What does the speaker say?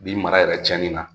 Bi mara yɛrɛ tiɲɛni na